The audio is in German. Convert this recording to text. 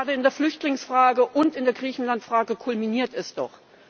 Gerade in der Flüchtlingsfrage und in der Griechenlandfrage kulminiert es doch.